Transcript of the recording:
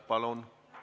Palun!